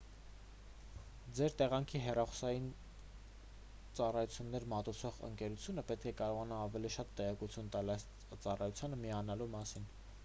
ձեր տեղանքի հեռախոսային ծառայություններ մատուցող ընկերությունը պետք է կարողանա ավելի շատ տեղեկություն տալ այս ծառայությանը միանալու մասին